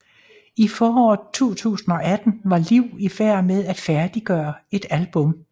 I foråret 2018 var Liv i færd med at færdiggøre et album